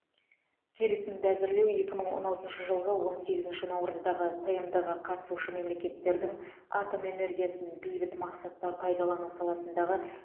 келісімді әзірлеу екі мың он алтыншы жылғы он сегізінші наурыздағы тмд ға қатысушы мемлекеттердің атом энергиясын бейбіт мақсатта пайдалану саласындағы